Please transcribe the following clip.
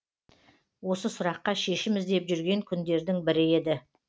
осы сұраққа шешім іздеп жүрген күндердің бірі еді